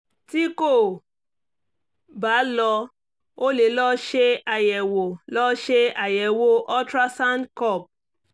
tí kò bá lọ o lè lọ ṣe àyẹ̀wò lọ ṣe àyẹ̀wò ultrasound kub